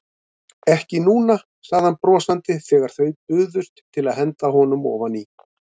Ekki núna, sagði hann brosandi þegar þau buðust til að henda honum ofaní.